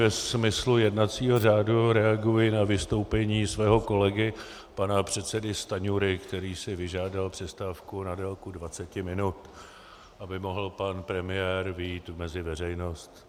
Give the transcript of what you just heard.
Ve smyslu jednacího řádu reaguji na vystoupení svého kolegy pana předsedy Stanjury, který si vyžádal přestávku na délku 20 minut, aby mohl pan premiér vyjít mezi veřejnost.